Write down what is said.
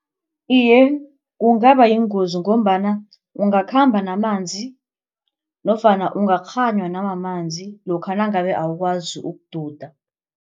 Iye, kungaba yingozi ngombana ungakhamba namanzi nofana ungakghanywa namamanzi lokha nangabe awukwazi ukududa.